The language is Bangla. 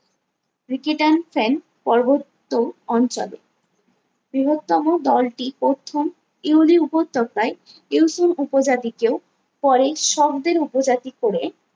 রিকেটান ফ্যান পর্বত্য অঞ্চলে বৃহত্তম দলটি প্রথম উদি উপত্যকায় ইউসুং উপজাতিকেও পরে শব্দের উপজাতি করে